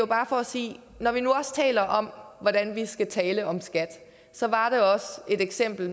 bare for at sige at når vi nu taler om hvordan vi skal tale om skat så var det et eksempel